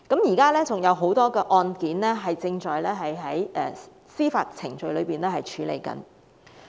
現時還有很多案件正在司法程序處理中。